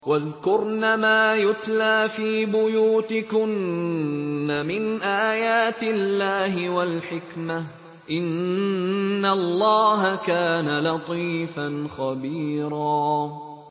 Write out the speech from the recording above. وَاذْكُرْنَ مَا يُتْلَىٰ فِي بُيُوتِكُنَّ مِنْ آيَاتِ اللَّهِ وَالْحِكْمَةِ ۚ إِنَّ اللَّهَ كَانَ لَطِيفًا خَبِيرًا